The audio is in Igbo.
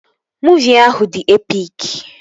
Muuvi ahụ dị epik